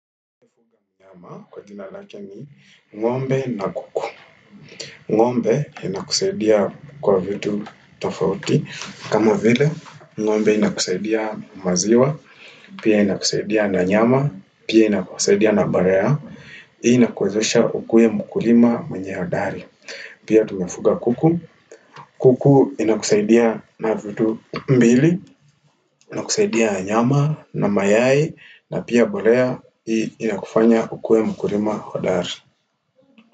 Ng'ombe na kuku. Ng'ombe inakusaidia kwa vitu tofauti. Kama vile, ng'ombe inakusaidia maziwa, pia inakusaidia na nyama, pia inakusaidia na mbolea. Hii inakuwezesha ukuwe mkulima mwenye hodari. Pia tumefuga kuku. Kuku inakusaidia na vitu mbili, inakusaidia nyama na mayai na pia mbolea inakufanya ukuwe mkulima hodari.